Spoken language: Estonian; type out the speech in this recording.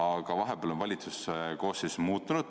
Aga vahepeal on valitsuse koosseis muutunud.